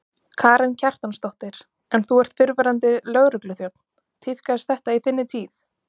Karen Kjartansdóttir: En þú ert fyrrverandi lögregluþjónn, tíðkaðist þetta í þinni tíð?